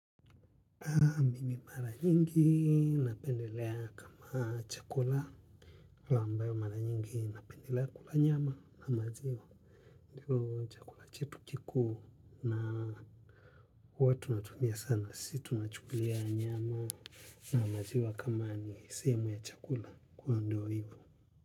Mimi mara nyingi napendelea kama chakula. Ala ambayo mara nyingi napendelea kula nyama na maziwa. Ndilo chakula chetu kikuu na hua tunatumia sana. Sisi tuna chukulia nyama na maziwa kama ni sehemu ya chakula kwa ndio hivo.